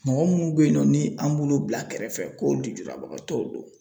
Mɔgɔ munnu be yen nɔ ni an b'olu bila kɛrɛfɛ ko lujurabagatɔw don